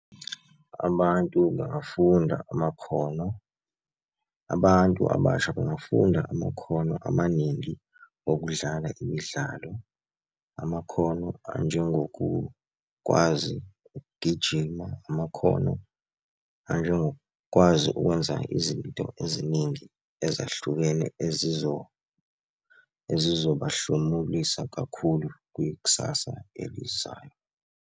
Abantu bangafunda amakhono, abantu abasha bangafunda amakhono amaningi okudlala imidlalo. Amakhono anjengokukwazi ukugijima, amakhono anjengokwazi ukwenza izinto eziningi ezahlukene ezizobahlomulisa kakhulu kwikusasa elizayo.